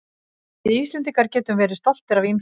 Við Íslendingar getum verið stoltir af ýmsu.